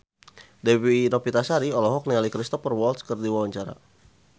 Dewi Novitasari olohok ningali Cristhoper Waltz keur diwawancara